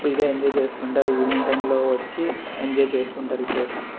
full గ enjoy చేస్తుంటారు evening time లో వచ్చి ఎంజాయ్ చేస్తుంటారు ఈ ప్లేస్ ని --